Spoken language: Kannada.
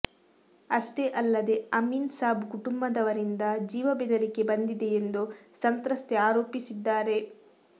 ಅಷ್ಟೇ ಅಲ್ಲದೇ ಅಮೀನ್ ಸಾಬ್ ಕುಟುಂಬದವರಿಂದ ಜೀವ ಬೆದರಿಕೆ ಬಂದಿದೆ ಎಂದು ಸಂತ್ರಸ್ತೆ ಆರೋಪಿಸಿದ್ದಾರೆ